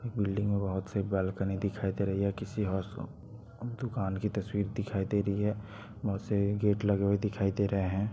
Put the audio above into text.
Building में बहुत सी बाल्कनी दिखाई दे रही है किसी अ दुकान की तस्वीर दिखाई दे रही है बहुत से गेट लगे हुए दिखाई दे रहे हैं।